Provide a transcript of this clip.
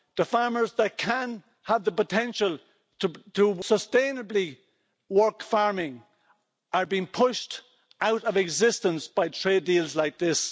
The farmers that can have the potential to sustainably work farming are being pushed out of existence by trade deals like this.